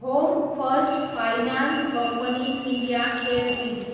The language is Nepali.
home First Finance Company India Ltd